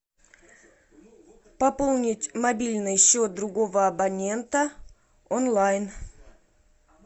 пополнить мобильный счет другого абонента онлайн